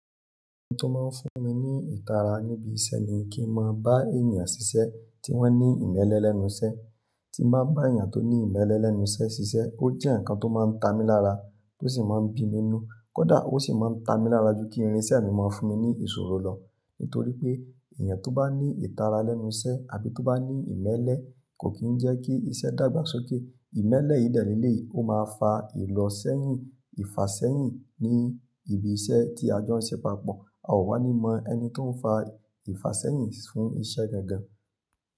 Ohun tó máa ń fún mi ní ìtara níbi iṣẹ́ ni kí n máa bá ènìyàn ṣiṣẹ́ tí wọ́n ní ìmẹ́lẹ́ lẹ́nu iṣẹ́. Tí n bá eyan tó ní ìmẹ́lẹ́ lẹ́nu iṣẹ́ ṣiṣẹ́, ó jẹ́ ǹkan tó máa ń ta mi lára, tó sì máa ń bi mí nu. Kódà ó sì máa ń ta mi lára ju kí irinṣẹ́ mi máa fún mi ní ìṣòro lọ. Nítorí pé èèyàn tó bá ní ìtara lẹ́nu iṣẹ́ àbí tó bá ní ìmẹ́lẹ́ kò kì í jẹ́ kí iṣẹ́ dàgbà sókè. Ìmẹ́lẹ́ yìí de leleyi, ó máa fa ìlọ̀sẹ́yìn, ìfàṣẹ́yìn ní ibi iṣẹ́ tí a jọ ń ṣe papọ̀. A ò wá ní mọ ẹni tó ń fa ìfàṣẹ́yìn fún iṣẹ́ gangan.